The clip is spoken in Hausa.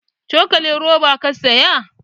Cokalin roba ka saya?